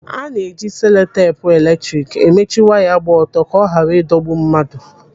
Ana-eji seloteepu eletrik emechi waya gba ọtọ ka ọ ghara ịdọgbu mmadụ.